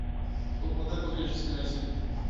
топ модель по гречески найти